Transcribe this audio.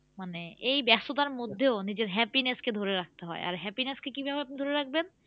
মানে এই ব্যাস্ততার মধ্যেও নিজের happiness কে ধরে রাখতে হয় আর happiness কে কিভাবে আপনি ধরে রাখবেন?